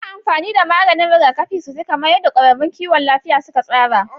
Yi amfani da maganin rigakafi sosai kamar yadda kwararrun kiwon lafiya suka tsara.